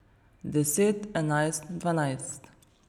Deset, enajst, dvanajst.